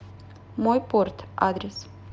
мой порт адрес